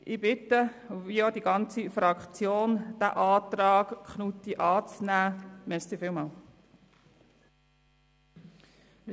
Ich und meine Fraktion bitten um Annahme des Antrags Knutti.